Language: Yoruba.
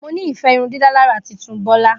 Mo ni ife irundidalara titun Bola.